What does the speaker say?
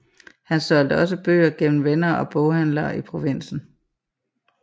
Han solgte også bøger gennem venner og boghandlere i provinsen